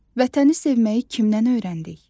Vətəni sevməyi kimdən öyrəndik?